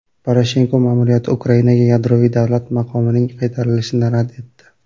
Poroshenko ma’muriyati Ukrainaga yadroviy davlat maqomining qaytarilishini rad etdi.